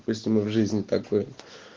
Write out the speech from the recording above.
костюмы в жизни такой